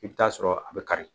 I bɛ taa sɔrɔ a bɛ kari